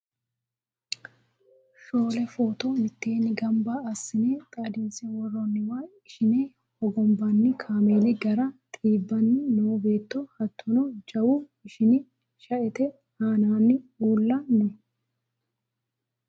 Shoole footo mitteenni gamba assine xaadinse worroonniwa ishine hogonbanni kameeli, gaare xiibbanni noo beetto hattono jawu ishini shaete aananna uulla no